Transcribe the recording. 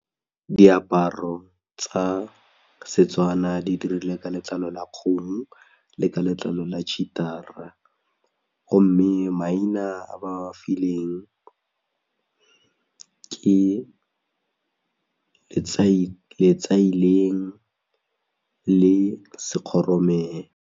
Diaparo tsa Setswana di dirilwe ka letlalo la kgomo le ka letlalo la cheater-a, gomme maina a ba filweng ke ketsaileng le sekgoromelo.